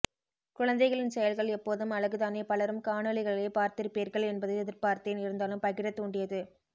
குழந்தைகளின் செயல்கள் எப்போதும் அழகுதானே பலரும் காணொளிகளைப் பார்த்திருப்பீர்கள் என்பது எதிர்பார்த்தேன் இருந்தாலும் பகிர தூண்டியது